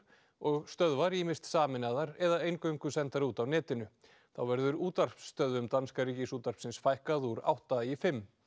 og stöðvar ýmist sameinaðar eða eingöngu sendar út á netinu þá verður útvarpsstöðvum danska Ríkisútvarpsins fækkað úr átta í fimm